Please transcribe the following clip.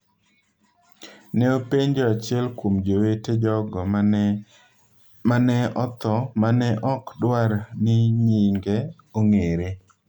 ne openjo achiel kuom jowete jogo ma ne otho ma ne ok dwar ni nyinge ong’ere.